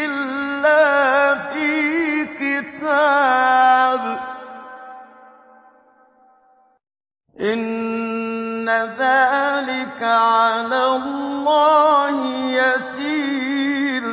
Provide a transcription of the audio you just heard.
إِلَّا فِي كِتَابٍ ۚ إِنَّ ذَٰلِكَ عَلَى اللَّهِ يَسِيرٌ